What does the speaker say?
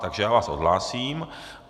Takže já vás odhlásím.